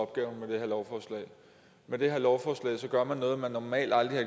opgaven med den her lov gør man noget man normalt aldrig